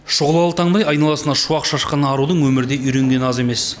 шұғылалы таңдай айналасына шуақ шашқан арудың өмірде үйренгені аз емес